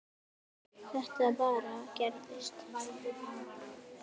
Þetta bara gerist.